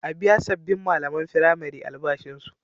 A biya sabbin malaman firamare albashinsu.